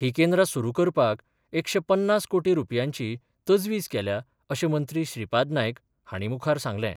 ही केंद्रा सुरू करपाक एकशे पन्नास कोटी रुपयांची तजवीज केल्या अशे मंत्री श्रीपाद नायक हाणी मुखार सांगले.